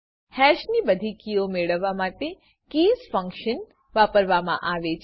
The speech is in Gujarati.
હેશની બધી કીઓ મેળવવા માટે કીઝ ફંકશન વાપરવા મા આવે છે